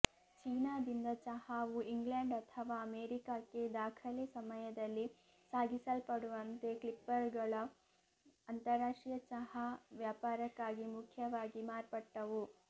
ಚೀನಾದಿಂದ ಚಹಾವು ಇಂಗ್ಲೆಂಡ್ ಅಥವಾ ಅಮೇರಿಕಾಕ್ಕೆ ದಾಖಲೆ ಸಮಯದಲ್ಲಿ ಸಾಗಿಸಲ್ಪಡುವಂತೆ ಕ್ಲಿಪ್ಪರ್ಗಳು ಅಂತರರಾಷ್ಟ್ರೀಯ ಚಹಾ ವ್ಯಾಪಾರಕ್ಕಾಗಿ ಮುಖ್ಯವಾಗಿ ಮಾರ್ಪಟ್ಟವು